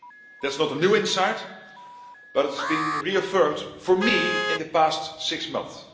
That is not a new insight, but it has been reaffirmed for me in the past six months.